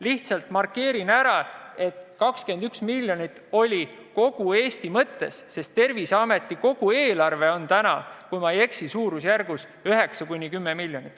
Lihtsalt markeerin ära, et 21 miljonit oli öeldud kogu Eesti mõttes, sest Terviseameti enda eelarve on täna, kui ma ei eksi, 9–10 miljonit.